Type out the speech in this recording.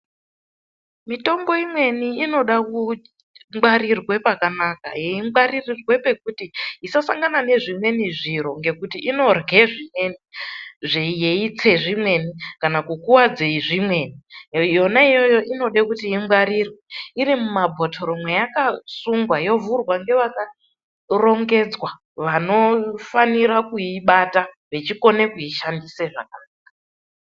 Mitombo imweni inode kungwarirwa pakanaka yeingwaririrwe pekuti isasangana nezvimweni zviro ngekuti inorye zvimweni yeiyse zvimweni kana kukuwadze zvimweni Yona iyoyo inode kuti ingwarirwe iri mumabhotoro mweyakasungwa yovhurwa ngevakarongedzwa vanofanira kuibata vechikone kuishandisa zvakanaka.